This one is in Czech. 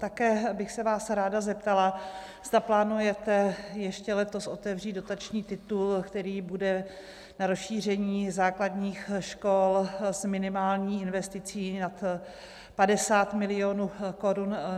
Také bych se vás ráda zeptala, zda plánujete ještě letos otevřít dotační titul, který bude na rozšíření základních škol s minimální investicí nad 50 milionů korun.